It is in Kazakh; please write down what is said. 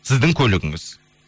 сіздің көлігіңіз